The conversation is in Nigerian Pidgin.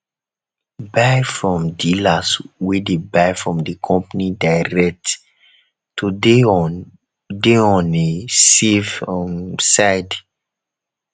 buy from dealers wey de buy from di company direct to de on de on a safe um side